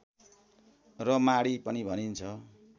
र माढी पनि भनिन्छ